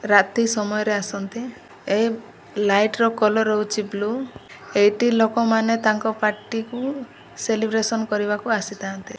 ରାତି ସମୟ ରେ ଆସନ୍ତେ ଏ ଲାଇଟ ର କଲର ହେଉଚି ବ୍ଲୁ ଏଇଠି ଲୋକ ମାନେ ତାଙ୍କ ପାର୍ଟି କୁ ସେଲିବ୍ରେସନ କରିବାକୁ ଆସିଥାନ୍ତି।